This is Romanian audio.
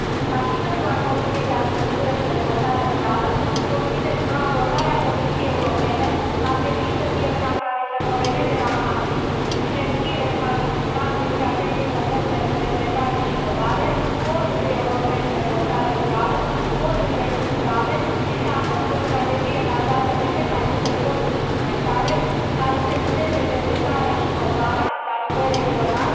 Ca și membru al Comisiei pentru agricultură și dezvoltare rurală, consider că abordarea Comisiei Europene ar trebui să fie una care să coreleze la maxim sinergiile în cadrul Cadrului strategic comun pentru cercetare și inovare, al Fondului european pentru agricultură și dezvoltare rurală și al Fondurilor structurale, precum și să adopte o strategie bazată pe cât mai multe fonduri suplimentare, care să vizeze cercetarea și inovarea la nivel regional